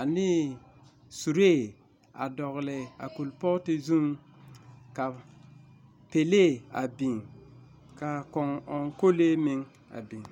ane suree a dogele a a kerepooti zuŋ, ka pelee a biŋ ka kõɔ ɔŋkolee meŋ a biŋ.